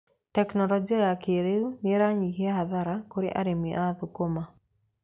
Tekinoronjia ya kĩrĩu nĩ ĩranyihia hathara kũrĩ arĩmi a thũkũma.